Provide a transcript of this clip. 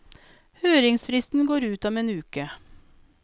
Høringsfristen går ut om en uke.